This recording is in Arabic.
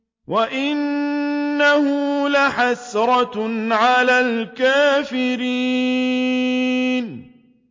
وَإِنَّهُ لَحَسْرَةٌ عَلَى الْكَافِرِينَ